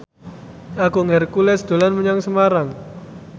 Agung Hercules dolan menyang Semarang